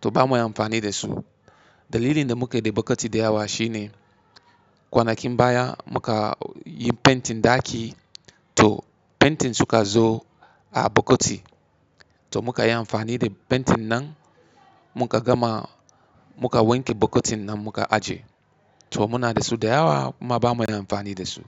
to ba ma yin amfani da su. Dalilin da muke de bokati da yawa shine, kwanakin baya muka yi pentin ɗaki to pentin suka zo a bokoti. To muka yi amfani da pentin nan muka gama muka wanke bokotin nan muka ajiye. To muna da su da yawa kuma ba mu yin amfani da su.